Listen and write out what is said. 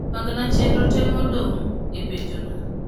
pangna chenro te modong e penjona